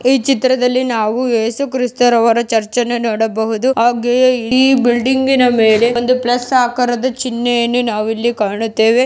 ಈ ಚಿತ್ರದಲ್ಲಿ ನಾವು ಎಸು ಕ್ರೈಸ್ಟ್ರರವರ ಚರ್ಚ್ ಅನ್ನು ನೋಡಬಹುದು ಹಾಗೆಯೆ ಈ ಬಿಲ್ಡಿಂಗ್ನ ಮೇಲೆ ಒಂದು ಪ್ಲಸ್ ಆಕಾರದ ಚಿನ್ಹೆಯಾನು ನಾವು ಇಲ್ಲಿ ಕಾಣುತ್ತೆವೆ.